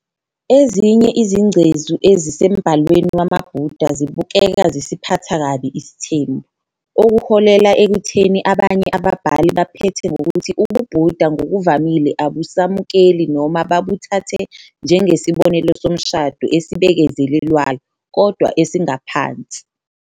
Ezinye izingcezu ezisembhalweni wamaBuddha zibukeka zisiphatha kabi isithembu, okuholela ekutheni abanye ababhali baphethe ngokuthi ubuBuddha ngokuvamile abusamukeli noma babuthathe njengesibonelo somshado esibekezelelwayo, kodwa esingaphansi.